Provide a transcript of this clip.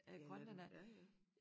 Ja det da forfærdeligt